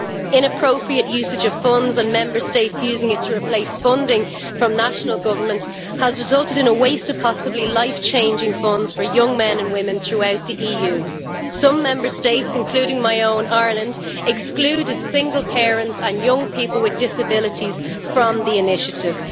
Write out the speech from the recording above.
Inappropriate usage of funds and Member States using it to replace funding from national governments has resulted in the waste of possibly life changing funds for young men and women throughout the EU. Some Member States including my own, Ireland, excluded single parents and young people with disabilities from the initiative.